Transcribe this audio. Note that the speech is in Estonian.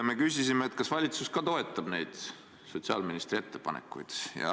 Me küsisime, kas valitsus ka toetab neid sotsiaalministri ettepanekuid.